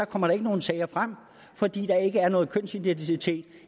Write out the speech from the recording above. kommer der ikke nogen sager frem fordi der ikke er nogen kønsidentitet